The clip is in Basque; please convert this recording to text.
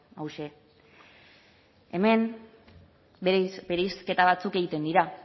hauxe hemen bereizketa batzuk egiten dira